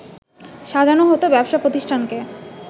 সাজানো হতো ব্যবসা প্রতিষ্ঠানকে